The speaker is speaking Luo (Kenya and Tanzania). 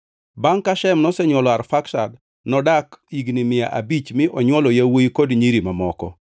Bangʼ ka Shem nosenywolo Arfaksad, nodak higni mia abich mi onywolo yawuowi kod nyiri mamoko.